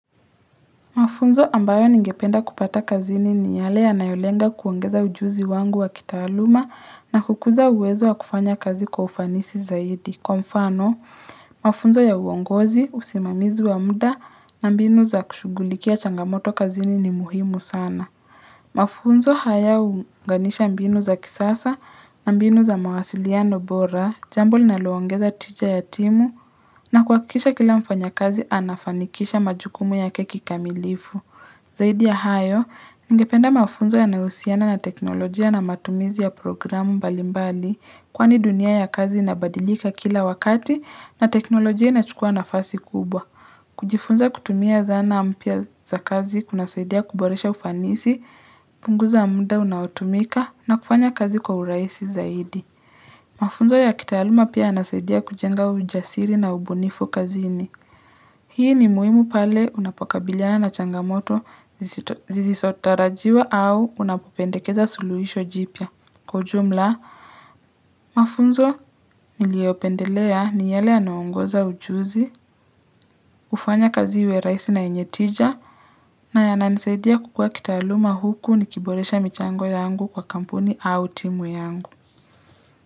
Mafunzo ambayo ningependa kupata kazini ni yale ya nayolenga kuongeza ujuzi wangu wa kitaluma na kukuza uwezo wa kufanya kazi kwa ufanisi zaidi. Kwa mfano, mafunzo ya uongozi, usimamizu wa mda na mbinu za kushugulikia changamoto kazini ni muhimu sana. Mafunzo haya uganisha mbinu za kisasa na mbinu za mawasiliano bora, jambu lina luongeza tija ya timu na kuakisha kila mfanya kazi anafanikisha majukumu yake ki kamilifu. Zaidi ya hayo, nigependa mafunzo ya neusiana na teknolojia na matumizi ya programu balimbali kwa ni dunia ya kazi inabadilika kila wakati na teknolojia inachukua nafasi kubwa. Kujifunza kutumia zana ampia za kazi, kunasaidia kuboresha ufanisi, punguza munda unautumika na kufanya kazi kwa uraisi zaidi. Mafunzo ya kitahaluma pia anasaidia kujenga ujasiri na ubunifu kazini. Hii ni muhimu pale unapokabiliana na changamoto zizisotarajiwa au unapopendekeza suluhisho jipya kwa ujumla. Mafunzo niliopendelea ni yale yanauongoza ujuzi, ufanya kazi we raisi na enyetija, na yananisaidia kukua kitaaluma huku nikiboresha michango yangu kwa kampuni au timu yangu.